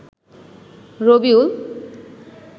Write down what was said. Rabiul